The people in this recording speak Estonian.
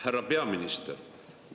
Härra peaminister!